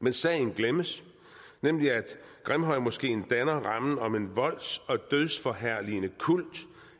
men sagen glemmes nemlig at grimhøjmoskeen danner rammen om en volds og dødsforherligende kult